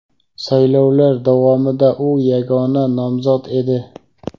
Saylovlar davomida u yagona nomzod edi.